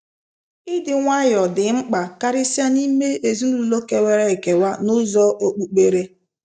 Ịdị nwayọọ dị mkpa karịsịa n’ime ezinụlọ kewara ekewa n’ụzọ okpukpere.